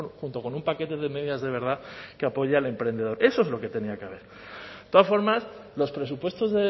junto con un paquete de medidas de verdad que apoye al emprendedor eso es lo que tenía que haber de todas formas los presupuestos